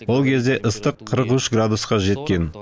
ол кезде ыстық қырық үш градусқа жеткен